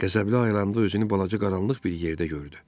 Qəzəbli ayılanla özünü balaca qaranlıq bir yerdə gördü.